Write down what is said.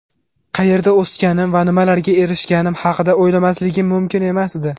Qayerda o‘sganim va nimalarga erishganim haqida o‘ylamasligim mumkin emasdi.